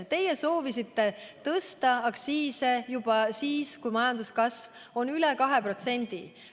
Teie soovisite tõsta aktsiise juba siis, kui majanduskasv on üle 2%.